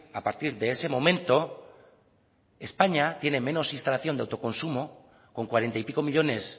a partir de ese momento españa tiene menos instalación de autoconsumo con cuarenta y pico millónes